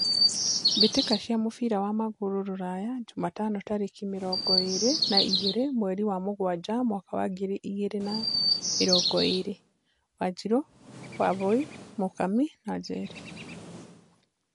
Mbĩ tĩ ka cia mũbira wa magũrũ Rũraya Jumatano tarĩ ki mĩ rongo ĩ rĩ na igĩ rĩ mweri wa mũgwanja mwaka wa ngiri igĩ rĩ na mĩ rongo ĩ rĩ : Wanjiru, Wambui, Mũkami, Njeri.